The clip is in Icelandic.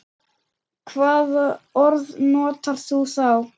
Hvaða orð notar þú þá?